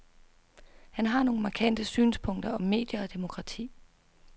Han har nogle markante synspunkter om medier og demokrati.